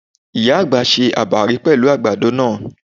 Ìyá àgbà se àbàrí pẹ̀lú àgbàdo náà.